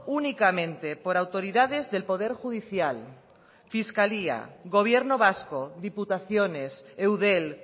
únicamente por autoridades del poder judicial fiscalía gobierno vasco diputaciones eudel